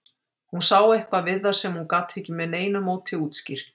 Hún sá eitthvað við það sem hún gat ekki með neinu móti útskýrt.